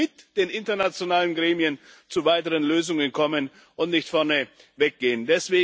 Wir sollten mit den internationalen Gremien zu weiteren Lösungen kommen und nicht vorneweg gehen.